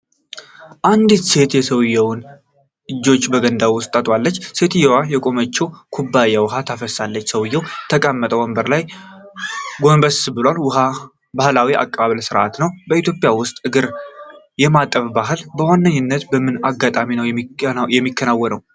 አንዲት ሴት የሰውየውን እጆች በገንዳ ውስጥ ታጥባለች። ሴትየዋ ከቆመችበት ኩባያ ውኃ ታፈሳለች። ሰውየው በተቀመጠበት ወንበር ላይ ጎንበስ ብሏል። ባህላዊ የአቀባበል ሥርዓት ነው። በኢትዮጵያ ውስጥ እግር የማጠብ ባህል በዋነኝነት በምን አጋጣሚ ነው የሚከናወነው?